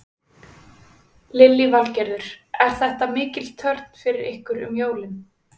Lillý Valgerður: Er þetta mikil törn fyrir ykkur um jólin?